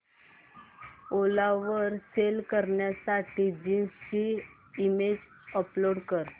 ओला वर सेल करण्यासाठी जीन्स ची इमेज अपलोड कर